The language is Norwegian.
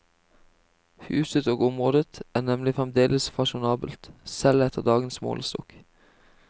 Huset og området er nemlig fremdeles fasjonabelt, selv etter dagens målestokk.